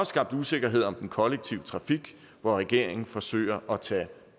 skabt usikkerhed om den kollektive trafik hvor regeringen forsøger at tage